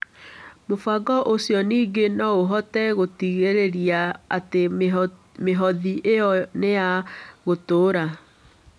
Mũbango ũcio ningĩ no ũhote gũtigĩrĩra atĩ mĩhothi ĩyo nĩ ya gũtũũra.